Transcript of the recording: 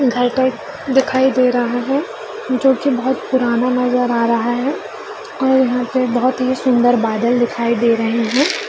घर पर दिखाई दे रहा है जो की बहुत पुराना नजर आ रहा है और यहाँ पे बहुत ही सुन्दर बादल दिखाई दे रहे हैं ।